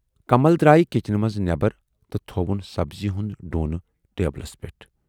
کمل درایہِ کِچنہٕ منز نٮ۪برَ تہٕ تھَوُن سبزی ہُند ڈونہٕ ٹیبلس پٮ۪ٹھ۔